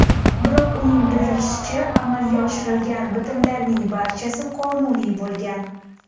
Biroq, uning bildirishicha, amalga oshirilgan bitimlarning barchasi qonuniy bo‘lgan.